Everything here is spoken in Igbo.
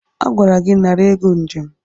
Agwara gị nara ego njem!